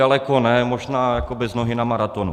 Daleko ne, možná jako bez nohy na maratonu.